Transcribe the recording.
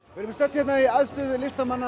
við erum stödd hérna í aðstöðu listamanna